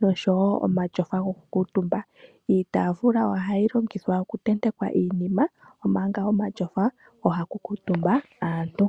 noshowo omatyofa gokukuutumba. Iitaafula ohayi longithwa okutentekwa iinima, omanga omatyofa ohaku kuutumba aantu.